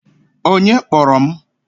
Onye kpọrọ m?